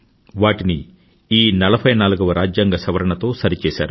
వాటిని ఈ 44వ రాజ్యాంగ సవరణ తో సరిచేసారు